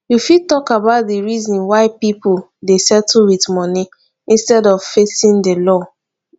you fit talk about di reasons why some people dey settle with money instead of facing di law